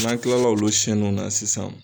N'an tilala olu siyɛni na sisan